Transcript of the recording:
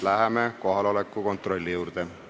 Läheme kohaloleku kontrolli juurde.